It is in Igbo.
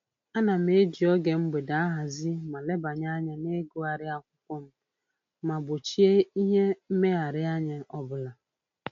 Ana m eji oge mgbede ahazi ma lebanye anya na-ịgụgharị akwụkwọ m ma gbochie ihe mmegharịanya ọbụla